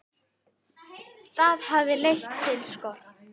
Það hafi leitt til skorts.